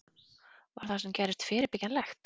Var það sem gerðist fyrirbyggjanlegt?